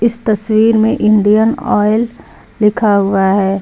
इस तस्वीर में इंडियन ऑयल लिखा हुआ है।